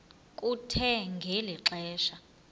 kuthe ngeli xesha